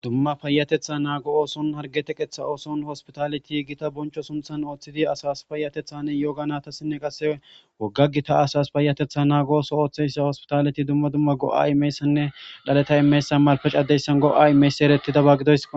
Dumma payatetha naago ooson hargete qetha ooson hospitaleti gita boncho sumthan ooththidi asas payatethanne yoga nata sinne qasse wogga gita asas payatetha naagooso ooththeyssa hospitaleti dumma dumma go'a imeyssanne dhaleta imeysan malpec addeyssan go'a imeys erettidaba gidoys.